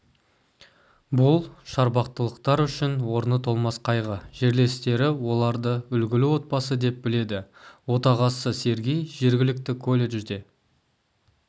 бұл шарбақтылықтар үшін орны толмас қайғы жерлестері оларды үлгілі отбасы деп біледі отағасы сергей жергілікті колледжде